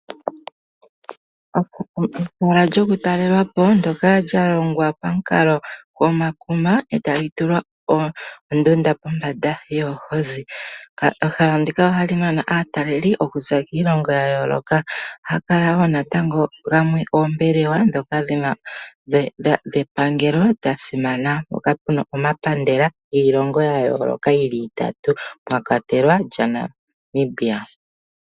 Ehala lyoku talelwapo ndyoka lya longwa pomukalo goma kuma eta lyi tulwa oondunda pombanda yoohozi. Ehala ndika ohali nana aataleli okuza kiilongo yayooloka. Ohaga kala wo natango gamwe oombelewa dhepangelo dhasimana mpoka puna omapandela giilongo yayoloka geli gatatu mwakwatelwa lyaNamibia.